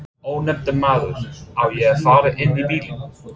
Ónefndur maður: Á ég að fara inn í bílinn?